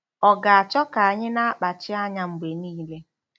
Ọ̀ ga-achọ ka anyị na-akpachi anya mgbe niile?